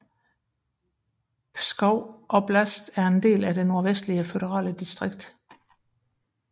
Pskov oblast er en del af det Nordvestlige føderale distrikt